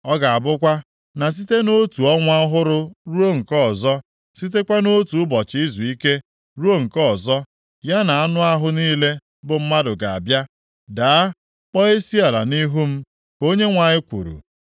Ọ ga-abụkwa na site nʼotu Ọnwa ọhụrụ ruo nke ọzọ, sitekwa nʼotu ụbọchị izuike ruo na nke ọzọ ya, anụ ahụ niile bụ mmadụ ga-abịa, daa, kpọọ isiala nʼihu m,” ka Onyenwe anyị kwuru.